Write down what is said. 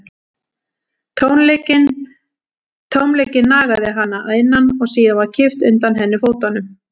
Tómleikinn nagaði hana að innan og síðan var kippt undan henni fótunum.